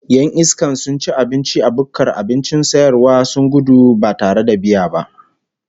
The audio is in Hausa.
Yan iskan sun ci abinci a bukkar abincin sayarwa sun gudu Badu biya ba